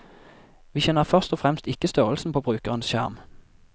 Vi kjenner først og fremst ikke størrelsen på brukerens skjerm.